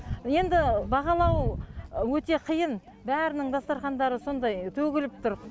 енді бағалау өте қиын бәрінің дастархандары сондай төгіліп тұр